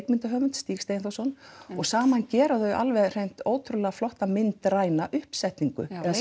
leikmyndarhöfund Stíg Steinþórsson og saman gera þau alveg hreint ótrúlega flotta myndræna uppsetningu eða